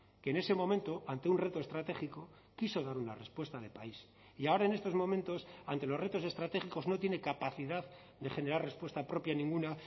que en ese momento ante un reto estratégico quiso dar una respuesta de país y ahora en estos momentos ante los retos estratégicos no tiene capacidad de generar respuesta propia ninguna